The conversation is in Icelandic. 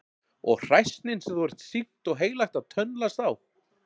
Og hræsnin sem þú ert sýknt og heilagt að tönnlast á!